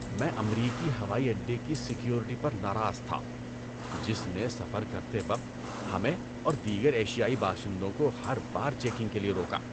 میں امریکی ہوائی اڈے کی سیکیورٹی پر ناراض تھا، جس نے سفر کرتے وقت ہمیں اور دیگر ایشیائی باشندوں کو ہر بار چیکنگ کے لیے روکا۔